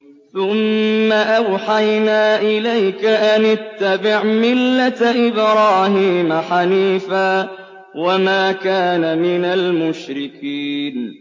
ثُمَّ أَوْحَيْنَا إِلَيْكَ أَنِ اتَّبِعْ مِلَّةَ إِبْرَاهِيمَ حَنِيفًا ۖ وَمَا كَانَ مِنَ الْمُشْرِكِينَ